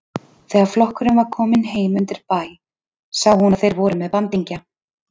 Þegar flokkurinn var kominn heim undir bæ sá hún að þeir voru með bandingja.